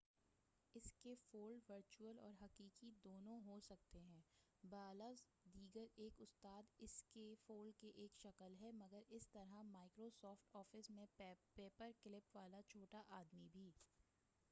اس کے fold virtual اور حقیقی دونوں ہو سکتے ہیں بالفاظ دیگر ایک استاد اس کے فولڈ کی ایک شکل ہے مگر اسی طرح مائیکرو سافٹ آفس میں پیپر کلپ والا چھوٹا آدمی بھی